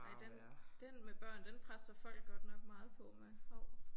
Ej den den med børn den presser folk godt nok meget på med hov